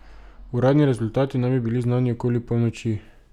Uradni rezultati naj bi bili znani okoli polnoči.